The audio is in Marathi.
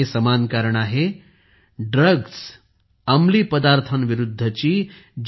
हे समान कारण आहे ड्रग्ज विरुद्ध अंमली पदार्थांविरुद्धची